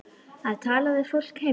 Að tala við fólkið heima.